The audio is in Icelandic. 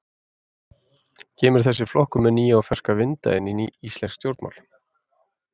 Kemur þessi flokkur með nýja og ferska vinda inn í íslensk stjórnmál?